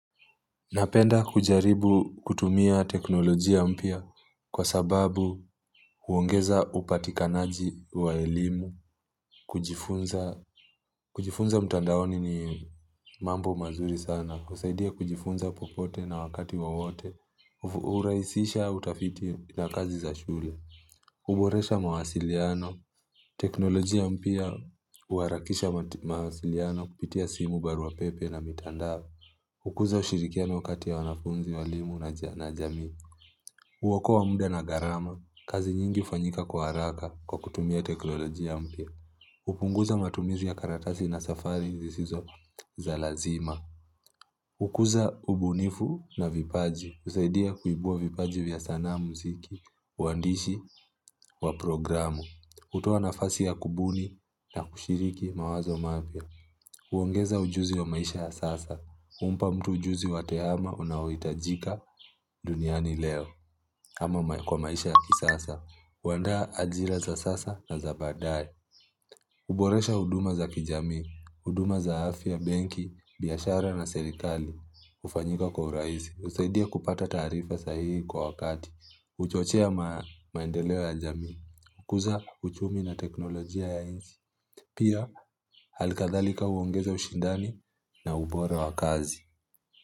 Napenda kujaribu kutumia teknolojia mpya kwa sababu huongeza upatikanaji wa elimu, kujifunza, kujifunza mtandaoni ni mambo mazuri sana, husaidia kujifunza popote na wakati wowote, hurahisisha utafiti na kazi za shule, huboresha mawasiliano, teknolojia mpya huharakisha mawasiliano kupitia simu barua pepe na mitandao, hukuza ushirikiano kati ya wanafunzi walimu na jamii. Huokoa muda na gharama. Kazi nyingi hufanyika kwa haraka kwa kutumia teknoloji mpya. Hupunguza matumizi ya karatasi na safari zisizo za lazima. Hukuza ubunifu na vipaji. Husaidia kuibua vipaji vya sanaa muziki. Waandishi wa programu. Hutoa nafasi ya kubuni na kushiriki mawazo mapya. Huongeza ujuzi ya maisha ya sasa. Humpa mtu ujuzi wa teama unaohitajika duniani leo. Ama kwa maisha ya kisasa huandaa ajira za sasa na za baadae huboresha huduma za kijamii huduma za afya, benki, biashara na serikali hufanyika kwa urahisi husaidia kupata taarifa sahihi kwa wakati huchochea maendeleo ya jamii hukuza uchumi na teknolojia ya nchi. Pia alkadhalika huongeza ushindani na ubora wa kazi.